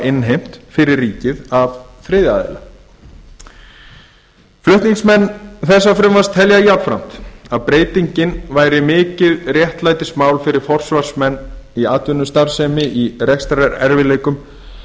innheimt fyrir ríkið af þriðja aðila flutningsmenn þessa frumvarps telja jafnframt að breytingin sé mikið réttlætismál fyrir forsvarsmenn í atvinnustarfsemi í rekstrarerfiðleikum